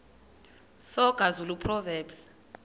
soga zulu proverbs